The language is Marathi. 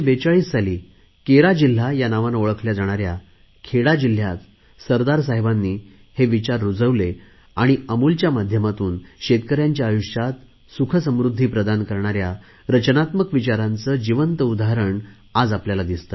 1942 साली केरा जिल्हा या नावाने ओळखल्या जाणाऱ्या खेडा जिल्हयात सरदार साहेबांनी हे विचार रुजवले आणि अमूलच्या माध्यमातून शेतकऱ्यांच्या आयुष्यात सुखसमृध्दी प्रदान करणाऱ्या रचनात्मक विचारांचे जिवंत उदाहरण आज आपल्याला दिसते आहे